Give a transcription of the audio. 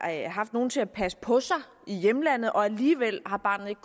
haft nogen til at passe på sig i hjemlandet og alligevel har barnet ikke